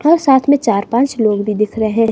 और साथ में चार-पांच लोग भी दिख रहे हैं।